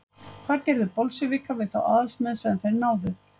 Hvað gerðu Bolsévikar við þá aðalsmenn sem þeir náðu?